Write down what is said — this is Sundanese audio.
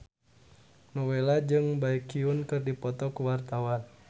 Nowela jeung Baekhyun keur dipoto ku wartawan